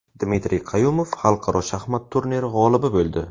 Dmitriy Qayumov xalqaro shaxmat turniri g‘olibi bo‘ldi.